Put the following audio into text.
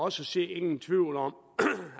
at se ingen tvivl om